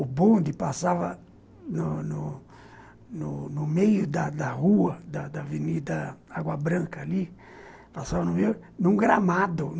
O bonde passava no no no no meio da da rua da Avenida Água Branca ali, num gramado.